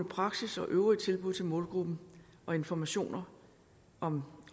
praksis og øvrige tilbud til målgruppen og informationer om